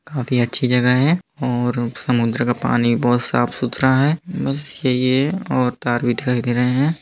काफी अच्छी जगह है और समुद्र का पानी बहोत साफ-सुथरा है बस यही है और टावर भी दिखाई दे रहे है।